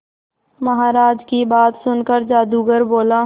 महाराज की बात सुनकर जादूगर बोला